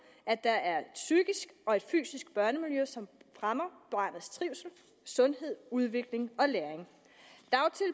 at der er et psykisk og et fysisk børnemiljø som fremmer barnets trivsel sundhed udvikling